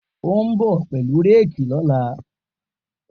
O n bọ pelu réèkì lọla.